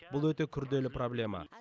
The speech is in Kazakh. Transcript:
бұл өте күрделі проблема